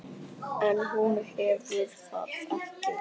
En hún hefur það ekki.